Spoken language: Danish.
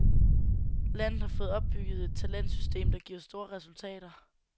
Landet har fået opbygget et talentsystem der giver store resultater.